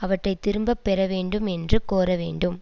அவற்றை திரும்ப பெறவேண்டும் என்று கோர வேண்டும்